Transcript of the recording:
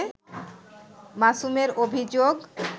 মাসুমের অভিযোগ